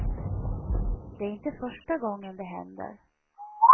Det är inte första gången det händer.